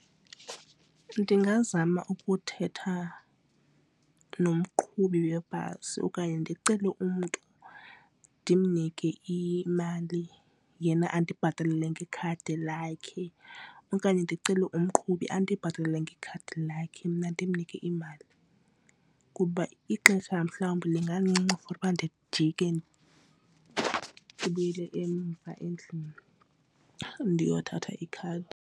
Ndingazama ukuthetha nomqhubi webhasi okanye ndicele umntu ndimnike imali yena andibhatalele ngekhadi lakhe. Okanye ndicele umqhubi andibhatalele ngekhadi lakhe mna ndimnike imali kuba ixesha mhlawumbi lingancinci for uba ndijike ndibuyele emva endlini ndiyothatha ikhadi.